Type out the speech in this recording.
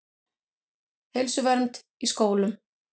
Heilsuvernd í skólum.